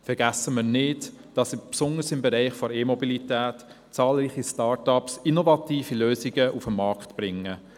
Vergessen wir nicht, dass besonders im Bereich der e-Mobilität zahlreiche Start-up-Unternehmen innovative Lösungen auf den Markt bringen.